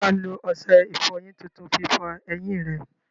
Ṣé wà á lo ọṣẹ ìfọyín tuntun fi fọ eyín rẹ?